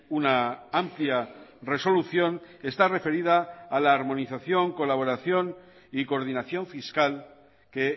una amplia resolución está referida a la armonización colaboración y coordinación fiscal que